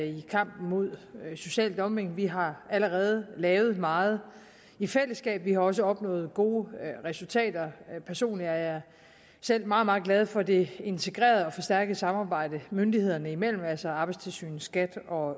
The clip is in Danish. i kampen mod social dumping vi har allerede lavet meget i fællesskab og vi har også opnået gode resultater personligt er jeg meget meget glad for det integrerede og forstærkede samarbejde myndighederne imellem altså mellem arbejdstilsynet skat og